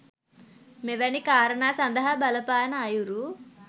මෙවැනි කාරණා සඳහා බලපාන අයුරු